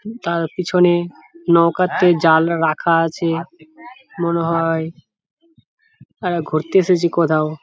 তার পিছনে নৌকাতে জাল রাখা আছে মনে হয়। আ ঘুরতে এসেছে কোথাও ।